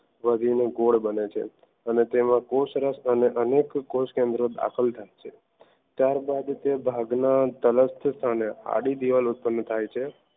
વધીને ગોળ બને છે અને તેમાં કોશરક્ત અને અનેક કોષકેન્દ્ર દાખલ થાય ત્યારબાદ તે ભાગ ના તલક્ષ આડી દીવાલ ઉત્પન્ન થાય છે